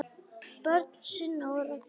Börn Sunna og Ragnar.